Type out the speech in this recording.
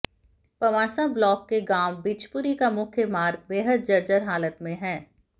Pawansa block के गांव बिचपुरी का मुख्य मार्ग बेहद जर्जर हालत में है